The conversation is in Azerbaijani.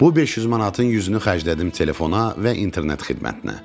Bu 500 manatın 100-ünü xərclədim telefona və internet xidmətinə.